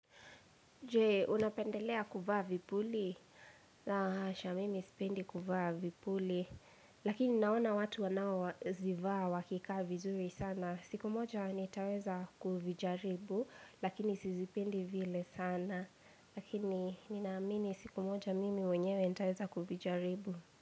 Je, unapendelea kuvaa vipuli? La hasha, mimi sipendi kuvaa vipuli. Lakini naona watu wanaozivaa wakikaa vizuri sana. Siku moja nitaweza kuvijaribu, lakini sizipendi vile sana. Lakini, ninaamini siku moja mimi mwenyewe nitaweza kuvijaribu.